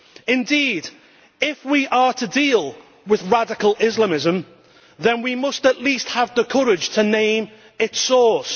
Indeed, if we are to deal with radical Islamism then we must at least have the courage to name its source.